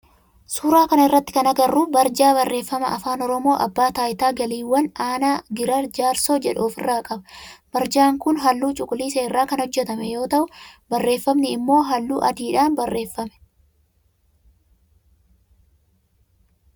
Suuraa kana irratti kan agarru barjaa barreeffama afaan oromoo abbaa taayitaa galiiwwaanii aanaa giraar jaarsoo jedhu of irraa qaba. Barjaan kun halluu cuquliisa irraa kan hojjetame yoo ta'u barreeffamni immoo halluu adiidhan barreeffame.